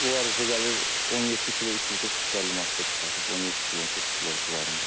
O hardasa gəlir 17 kilo, 340-350 manat pul çıxardır, 17 kilo, 18 kilo civarında.